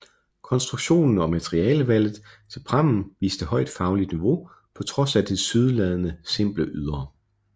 Konstruktionen og materialevalget til prammen viste højt fagligt niveau på trods af det tilsyneladende simple ydre